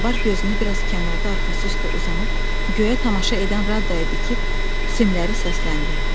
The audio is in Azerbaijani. Zobar gözünü bir az kənarda arxası üstə uzanıb göyə tamaşa edən Raddaya dikib simləri səsləndirdi.